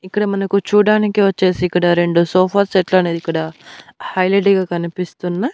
ఇక్కడ మనకు చూడానికి వచ్చేసి ఇక్కడ రెండు సోఫా సెట్లు అనేది ఇక్కడ హైలెట్ గా కనిపిస్తున్న--